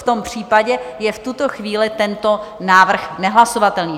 V tom případě je v tuto chvíli tento návrh nehlasovatelný.